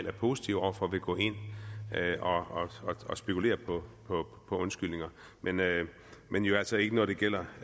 er positiv over for vil gå ind og spekulere på undskyldninger men men jo altså ikke når det gælder